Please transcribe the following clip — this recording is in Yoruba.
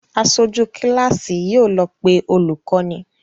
Aṣojú kíláàsì yóò lọ pé olùkọ́ni